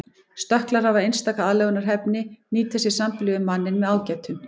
Stökklar hafa einstaka aðlögunarhæfni nýta sér sambýli við manninn með ágætum.